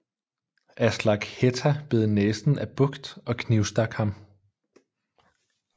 Aslak Hætta bed næsen af Bucht og knivstak ham